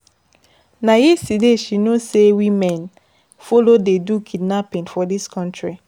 Na yesterday she know sey women folo dey do kidnapping for dis country.